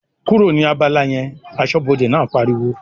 "kúrò ní abala yẹn!", aṣọ́bọdè náà pariwo